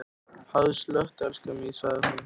Hafðu slökkt elskan mín, sagði hún.